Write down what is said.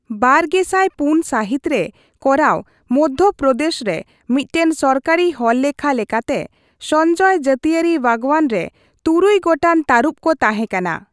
ᱵᱟᱨᱜᱮᱥᱟᱭ ᱯᱩᱱ ᱥᱟᱹᱦᱤᱛ ᱨᱮ ᱠᱚᱨᱟᱣ ᱢᱚᱫᱫᱷᱚᱯᱚᱨᱚᱫᱮᱥ ᱨᱮ ᱢᱤᱫᱴᱟᱝ ᱥᱚᱨᱠᱟᱨᱤ ᱦᱚᱲᱞᱮᱠᱷᱟ ᱞᱮᱠᱟᱛᱮ, ᱥᱚᱧᱡᱚᱭ ᱡᱟᱛᱤᱭᱟᱹᱨᱤ ᱵᱟᱜᱽᱣᱟᱱ ᱨᱮ ᱛᱩᱨᱩᱭ ᱜᱚᱴᱟᱝ ᱛᱟᱹᱨᱩᱵ ᱠᱚ ᱛᱟᱦᱮᱸ ᱠᱟᱱᱟ ᱾